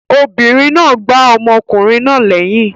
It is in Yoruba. Obìnrin náà gbá ọmọkùnrin náà lẹyìn.